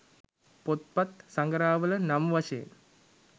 පොත්පත් සඟරාවල නම් වශයෙන්